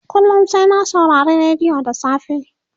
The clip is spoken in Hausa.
kullum sai na saurari rediyo da safe